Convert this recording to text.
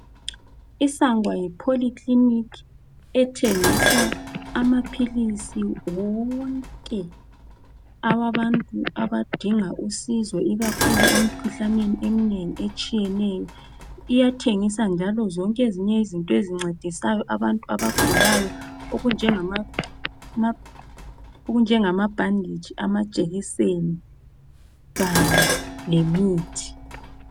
Isanlam yi polyclinic ethengisa amaphilisi wonke awabantu abidinga usizo ikakhulu emkhuhlaneni eminengi etshiyeneyo. Iyathengisa njalo zonke ezinye izinto ezincedisayo abantu abagulayo okunjengama bhanditshi, amajekiseni kanye lemithi.